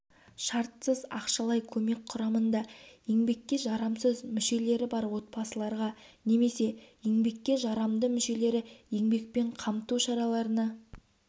шартсыз ақшалай көмек құрамында еңбекке жарамсыз мүшелері бар отбасыларға немесе еңбекке жарамды мүшелері еңбекпен қамту шараларына